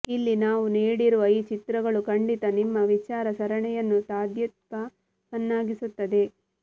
ಇಲ್ಲಿ ನಾವು ನೀಡಿರುವ ಈ ಚಿತ್ರಗಳು ಖಂಡಿತ ನಿಮ್ಮ ವಿಚಾರ ಸರಣಿಯನ್ನು ತಾದಾತ್ಮ್ಯವನ್ನಾಗಿಸುತ್ತದೆ